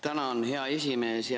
Tänan, hea esimees!